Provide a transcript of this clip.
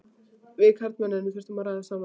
Við karlmennirnir þurfum að ræða saman.